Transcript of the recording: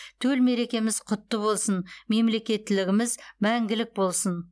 төл мерекеміз құтты болсын мемлекеттілігіміз мәңгілік болсын